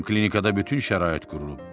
Bizim klinikada bütün şərait qurulub.